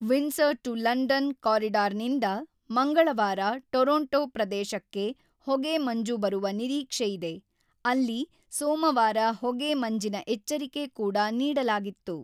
Windsor to London ಕಾರಿಡಾರ್‌ನಿಂದ ಮಂಗಳವಾರ ಟೊರೊಂಟೊ-ಪ್ರದೇಶಕ್ಕೆ ಹೊಗೆ ಮಂಜು ಬರುವ ನಿರೀಕ್ಷೆಯಿದೆ, ಅಲ್ಲಿ ಸೋಮವಾರ ಹೊಗೆ ಮಂಜಿನ ಎಚ್ಚರಿಕೆ ಕೂಡ ನೀಡಲಾಗಿತ್ತು.